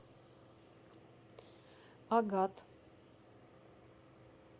агат